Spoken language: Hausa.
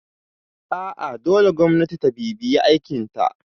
A'a dole gwamnati ta bibiye aikinta